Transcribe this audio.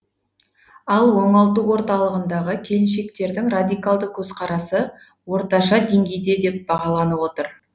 ал оңалту орталығындағы келіншектердің радикалдық көзқарасы орташа деңгейде деп бағаланып отыр